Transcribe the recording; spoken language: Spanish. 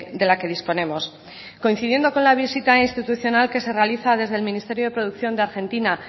de la que disponemos coincidiendo con la visita institucional que se realiza desde el ministerio de producción de argentina